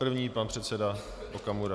První pan předseda Okamura.